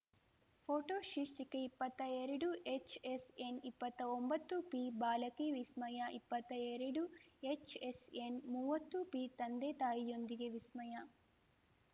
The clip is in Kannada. ಪೋಟೋ ಶೀರ್ಷಿಕೆ ಇಪ್ಪತ್ತಾ ಎರಡು ಎಚ್‌ ಎಸ್‌ ಎನ್‌ ಇಪ್ಪತ್ತಾ ಒಂಬತ್ತುಪಿ ಬಾಲಕಿ ವಿಸ್ಮಯಾ ಇಪ್ಪತ್ತಾ ಎರಡು ಎಚ್‌ ಎಸ್‌ ಎನ್‌ ಮುವತ್ತು ಪಿ ತಂದೆತಾಯಿಯೊಂದಿಗೆ ವಿಸ್ಮಯಾ